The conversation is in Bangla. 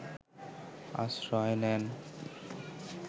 আশ্রয় নেন